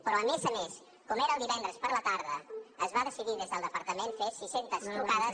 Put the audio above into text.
però a més a més com era divendres a la tarda es va decidir des del departament fer sis centes trucades